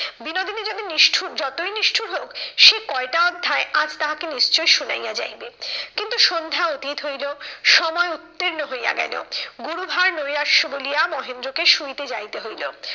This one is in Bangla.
বিনোদিনী যদি নিষ্ঠূর যতই নিষ্ঠূর হোক সে কয়টা অধ্যায় আজ তাহাকে নিশ্চই শুনাইয়া যাইবে। কিন্তু সন্ধ্যা অতীত হইলো সময় উত্তীর্ণ হইয়া গেলো গুরুভার নৈরাশ্য বলিয়া মহেন্দ্রকে শুইতে যাইতে হইলো।